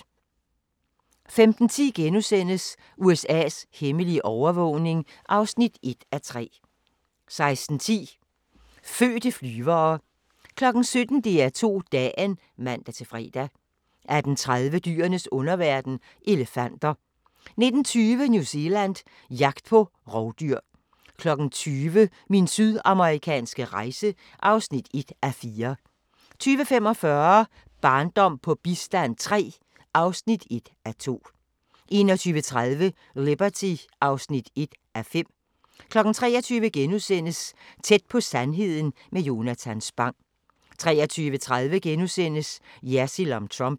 15:10: USA's hemmelige overvågning (1:3)* 16:10: Fødte flyvere 17:00: DR2 Dagen (man-fre) 18:30: Dyrenes underverden – elefanter 19:20: New Zealand – jagt på rovdyr 20:00: Min sydamerikanske rejse (1:4) 20:45: Barndom på bistand III (1:2) 21:30: Liberty (1:5) 23:00: Tæt på sandheden med Jonatan Spang * 23:30: Jersild om Trump *